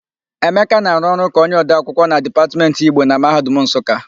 Emeka na-arụ ọrụ ka onyeodeakwụkwọ na Dipatmentị Igbo na Mahadum Nsụka.